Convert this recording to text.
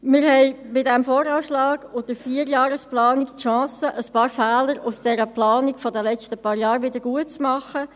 Wir haben beim VA und bei der Vierjahresplanung die Chance, ein paar Fehler aus der Planung der letzten paar Jahre wiedergutzumachen.